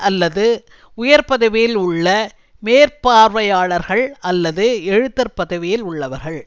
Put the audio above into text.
அல்லது உயர் பதவியில் உள்ள மேற்பார்வையாளர்கள் அல்லது எழுத்தர் பதவியில் உள்ளவர்கள்